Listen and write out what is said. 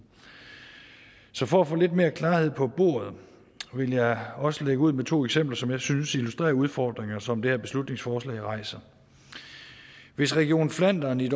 så for at få lidt mere klarhed på bordet vil jeg også lægge ud med to eksempler som jeg synes illustrerer nogle udfordringer som det her beslutningsforslag rejser hvis region flandern i